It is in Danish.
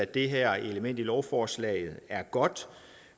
det her element i lovforslaget er godt